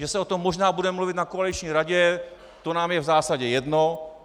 Že se o tom možná bude mluvit na koaliční radě, to nám je v zásadě jedno.